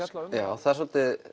það er svolítið